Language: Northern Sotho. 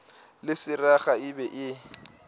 le seraga e be e